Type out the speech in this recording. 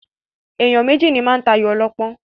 Èèyàn méjì ní máa ń tayò ọlọ́pọ́n.